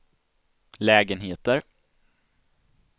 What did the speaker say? lägenheter